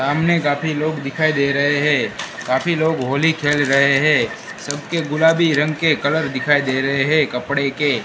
सामने काफी लोग दिखाई दे रहें हैं काफी लोग होली खेल रहें हैं सबके गुलाबी रंग के कलर दिखाई दे रहें हैं कपडे के।